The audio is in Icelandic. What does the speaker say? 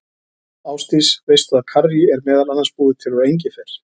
Ásdís, veistu að karrí er meðal annars búið til úr engifer?